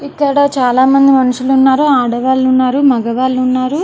ఇక్కడ చాలామంది మనుషులు ఉన్నారు ఆడవాళ్ళు ఉన్నారు మగవాళ్ళు ఉన్నారు.